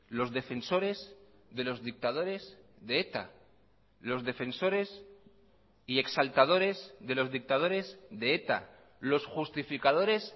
los defensores de los dictadores de eta los defensores y exaltadores de los dictadores de eta los justificadores